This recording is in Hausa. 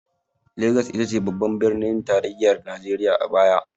Lagos ita ce babban birnin tarayyar najeriya a baya.